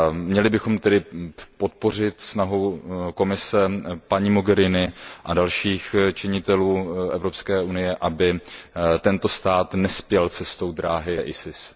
Měli bychom tedy podpořit snahu Komise, paní Mogheriniové a dalších činitelů Evropské unie, aby tento stát nespěl cestou ISIS.